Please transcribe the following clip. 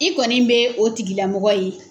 I kɔni be o tigilamɔgɔ ye